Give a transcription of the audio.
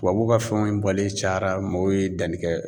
Tubabuw ka fɛnw bɔlen cayara mɔɔw ye danni kɛ.